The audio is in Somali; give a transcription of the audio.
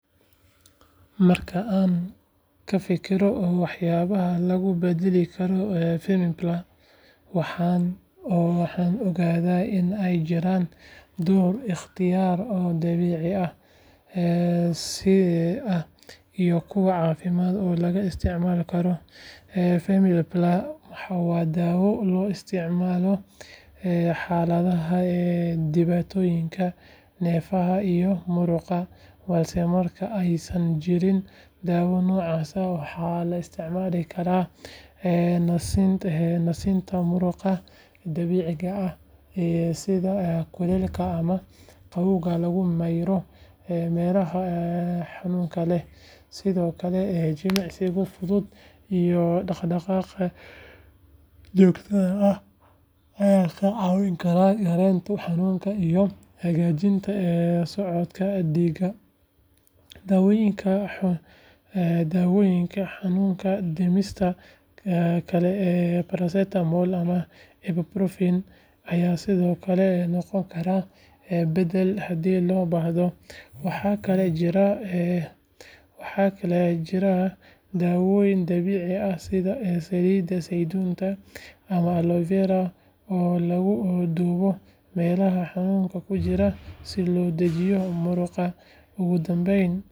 Marka aan ka fikiro waxyaabaha lagu beddeli karo femiplar, waxaan ogaadaa in ay jiraan dhowr ikhtiyaar oo dabiici ah iyo kuwo caafimaad oo laga isticmaali karo. Femiplar waa daawo loo isticmaalo xaaladaha dhibaatooyinka neerfaha iyo murqaha, balse marka aysan jirin daawo noocaas ah, waxaa la isticmaali karaa nasinta murqaha dabiiciga ah sida kuleylka ama qabowga lagu mariyo meelaha xanuunka leh. Sidoo kale, jimicsiga fudud iyo dhaqdhaqaaqa joogtada ah ayaa ka caawin kara yareynta xanuunka iyo hagaajinta socodka dhiigga. Daawooyinka xanuun-dhimista kale sida paracetamol ama ibuprofen ayaa sidoo kale noqon kara beddel haddii loo baahdo. Waxaa kaloo jira dawooyin dabiici ah sida saliidda saytuunka ama aloe vera oo lagu duugo meelaha xanuunka ku jira si loo dejiyo murqaha.